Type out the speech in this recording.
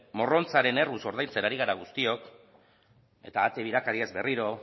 morrontzaren erruz ari gara ordaintzen guztiok eta ate birakariez berriro